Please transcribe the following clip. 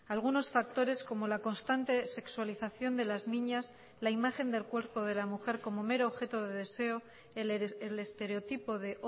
algunos factores como la constante sexualización de las niñas la imagen del cuerpo de la mujer como mero objeto de deseo el estereotipo de